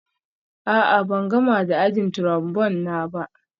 A'a, ban gama da ajin Trombone na ba